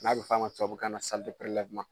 N'a bi fɔ a ma tubabu kan na sali de perelɛwuman